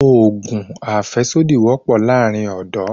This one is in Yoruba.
Òògùn àfẹ́sódì wọ́pọ̀ láàrin ọ́dọ̀